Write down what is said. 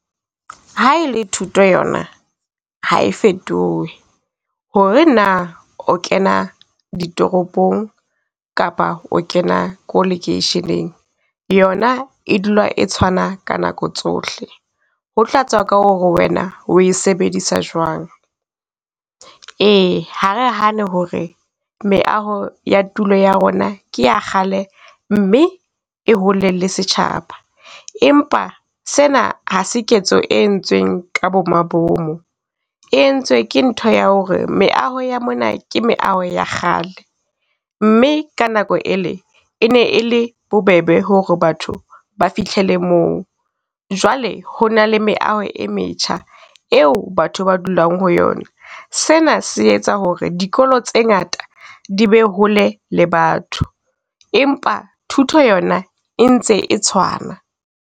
Ha ele thuto yona ha e fetohe, ho re na o kena ditoropong kapa o kena ko lekeisheneng yona e dula e tshwana ka nako tsohle. Ho tla tswa ka ho re wena o e sebedisa jwang. Ee Ha re hane ho re meaho ya tulo ya rona ke ya kgalem mme e hole le setjhaba, empa sena ha se ketso e entsweng ka bo mabomo. E entswe ke ntho ya ho re meaho ya mona, ke meaho ya kgale. Mme ka nako ele e ne e le bobebe ho re batho ba fihlele moo. Jwale hona le meaho e metjha, eo batho ba dulang ho yona. Sena se etsa ho re dikolo tse ngata, di be hole le batho, empa thuto yona e ntse e tshwana.